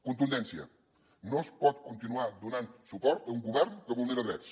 contundència no es pot continuar donant suport a un govern que vulnera drets